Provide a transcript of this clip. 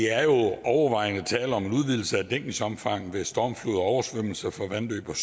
er jo overvejende tale om en udvidelse af dækningsomfanget ved stormflod og oversvømmelser fra vandløb og